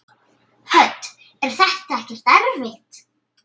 Hödd: Er þetta ekkert erfitt?